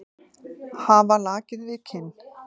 Hafa lakið við kinn.